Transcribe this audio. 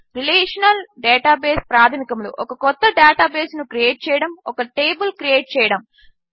relational database ప్రాధమికములు ఒక కొత్త డేటాబేస్ను క్రియేట్ చేయడము ఒక టేబిల్ క్రియేట్ చేయడము